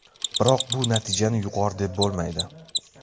Biroq bu natijani yuqori deb bo‘lmaydi.